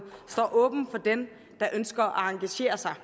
står åbne for dem der ønsker at engagere sig